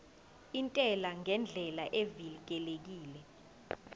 intela ngendlela evikelekile